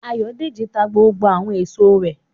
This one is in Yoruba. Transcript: Ayọ̀dèjì ta gbogbo àwọn èso rẹ̀